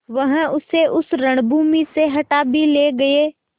वह उसे उस रणभूमि से हटा भी ले गये